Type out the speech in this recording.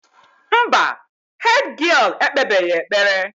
Mba, hédgịél ekpebeghị ekpere.